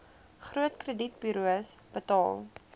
groot kredietburos betaal